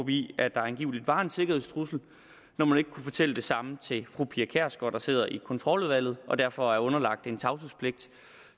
i at der angiveligt var en sikkerhedstrussel når man ikke kunne fortælle det samme til fru pia kjærsgaard der sidder i kontroludvalget og derfor er underlagt tavshedspligt